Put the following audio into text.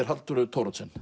Halldóru Thoroddsen